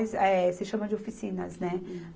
É, se chama de oficinas, né?